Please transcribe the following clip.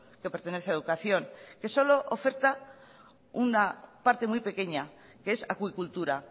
que pertenece a educación que solo oferta una parte muy pequeña que es acuicultura